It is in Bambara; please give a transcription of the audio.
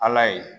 Ala ye